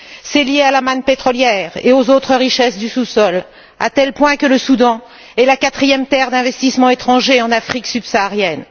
C'est lié à la manne pétrolière et aux autres richesses du sous sol, à tel point que le Soudan est la quatrième terre d'investissements étrangers en Afrique subsaharienne.